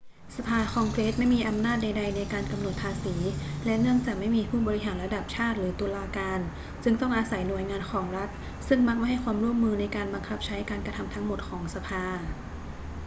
สภาคองเกรสไม่มีอำนาจใด ๆ ในการกำหนดภาษี และเนื่องจากไม่มีผู้บริหารระดับชาติหรือตุลาการ จึงต้องอาศัยหน่วยงานของรัฐซึ่งมักไม่ให้ความร่วมมือในการบังคับใช้การกระทำทั้งหมดของสภา